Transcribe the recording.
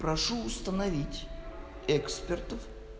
прошу установить экспертов